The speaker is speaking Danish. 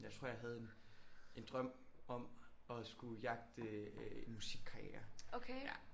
Jeg tror jeg havde en en drøm om at skulle jagte en musikkarriere ja